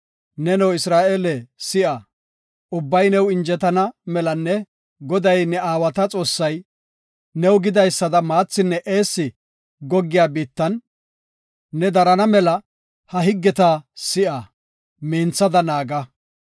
Neno, Isra7eele si7a; ubbabay new injetana melanne Goday ne aawata Xoossay, new gidaysada maathinne eessi goggiya biittan ne darana mela ha higgeta si7a; minthada naaga.